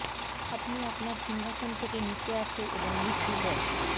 আপনি আপনার সিংহাসন থেকে নিচে আসে এবং মৃত্যু জয়